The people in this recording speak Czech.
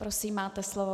Prosím, máte slovo.